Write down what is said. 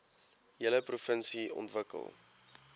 hele provinsie ontwikkel